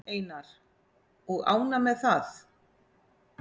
Einar: Og ánægð með það?